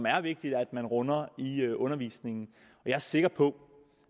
er vigtigt at man runder i undervisningen jeg er sikker på